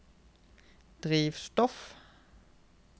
drivstoff